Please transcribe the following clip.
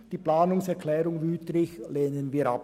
Die Planungserklärung Wüthrich hingegen lehnen wir ab.